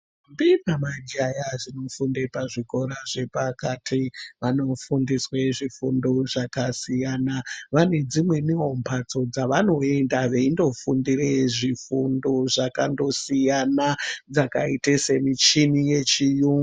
Ndombi ne Majaya dzinofunda zvikora zvepakati vanofundiswe zvifundo zvakasiyana vanedzimweni mhatso dzavanoenda vachindofundire zvifundo zvakandosiyana zvakaite semichini yechiyungu nezvimweni zvakadaro.